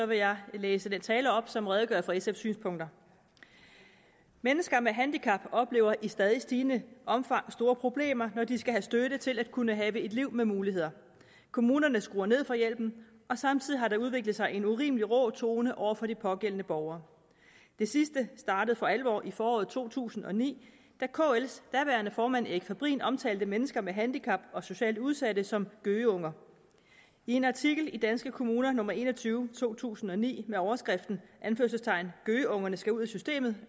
vil jeg læse den tale op som redegør for sf’s synspunkter mennesker med handicap oplever i stadig stigende omfang store problemer når de skal have støtte til at kunne have et liv med muligheder kommunerne skruer ned for hjælpen og samtidig har der udviklet sig en urimelig rå tone over for de pågældende borgere det sidste startede for alvor i foråret to tusind og ni da kls daværende formand erik fabrin omtalte mennesker med handicap og socialt udsatte som gøgeunger i en artikel i danske kommuner nummer en og tyve to tusind og ni med overskriften gøgeungerne skal ud af systemet